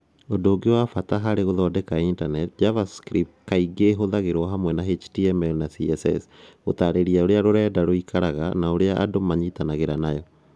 Ũndũ ũngĩ wa bata harĩ gũthondeka intaneti, JavaScript kaingĩ ĩhũthagĩrũo hamwe na HTML na CSS - gũtaarĩria ũrĩa rũrenda rũikaraga na ũrĩa andũ manyitanagĩra nayo.